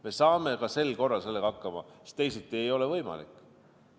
Me saame ka sel korral sellega hakkama, sest teisiti ei ole võimalik.